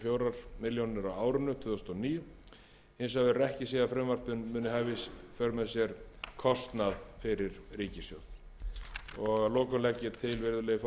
og fjórar milljónir á árinu tvö þúsund og níu hins vegar verður ekki séð að frumvarpið muni hafa í för með sér kostnað fyrir ríkissjóð virðulegi forseti að lokum legg ég